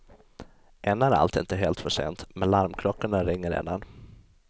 Än är allt inte helt för sent, men larmklockorna ringer redan.